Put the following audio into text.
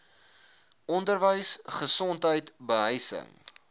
onderwys gesondheid behuising